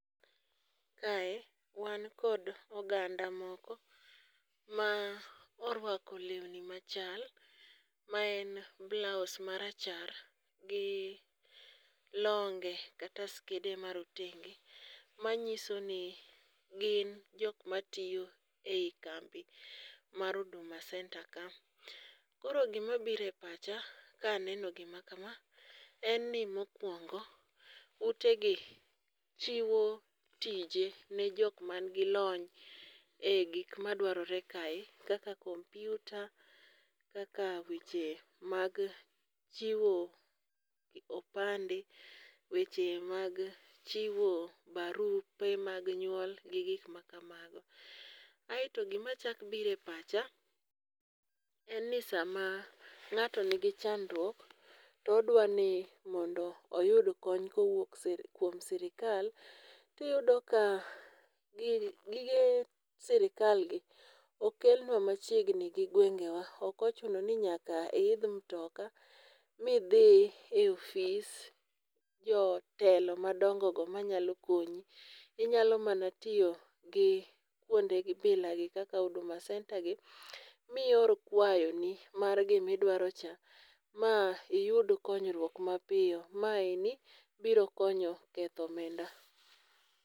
Kae wan kod oganda moko ma orwako lewni machal ma en blaus marachar gi longe kata skede ma rotenge manyiso ni gin jok matiyo ei kambi mar Huduma Centre ka. koro gimabiro e pacha kaneno gima kama, en ni mokwongo utegi chiwo tije ne jok manigi lony e gik madwarore kae kaka kompyuta, kaka weche mag chiwo opande, weche mag chiwo barupe mag nyuol gi gik kamano. Aeto gimachako biro e pacha en ni sama ng'ato nigi chandruok, to odwa ni mondo oyud kony kowuok kuom sirikal, tiyudo ka gige sirikalgi okelna machiegni gi gwengewa. Ok ochuno ni nyaka iidh mtoka midhi e ofis jotelo madongogo manyalo konyi. Inyalo mana tiyo gi kwonde bilagi kaka Huduma centre gi mior kwayoni mar gimidwarocha ma iyud konyruok mapiyo. Meani biro konyo ketho omenda.